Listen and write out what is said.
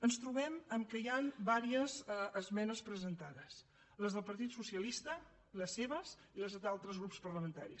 ens trobem que hi ha diverses esmenes presentades les del partit socialista les seves i les d’altres grups parlamentaris